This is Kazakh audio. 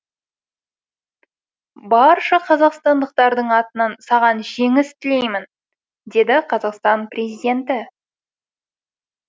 барша қазақстандықтардың атынан саған жеңіс тілеймін деді қазақстан президенті